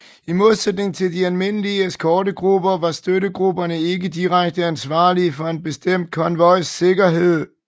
I modsætning til de almindelige eskortegrupper var støttegrupperne ikke direkte ansvarlige for en bestemt konvojs sikkerhed